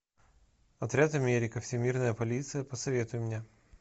отряд америка всемирная полиция посоветуй мне